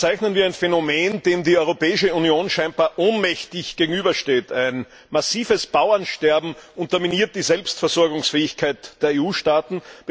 Seit Jahren verzeichnen wir ein Phänomen, dem die Europäische Union scheinbar ohnmächtig gegenübersteht Ein massives Bauernsterben unterminiert die Selbstversorgungsfähigkeit der EU Staaten.